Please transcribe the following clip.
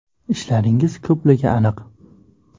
Ishlaringiz ko‘pligi aniq.